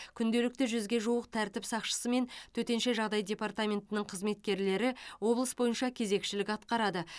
күнделікті жүзге жуық тәртіп сақшысы мен төтенше жағдай департаментінің қызметкерлері облыс бойынша кезекшілік атқарады